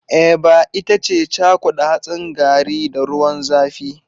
Eba ita ce cakuda hatsin garri da ruwan zafi.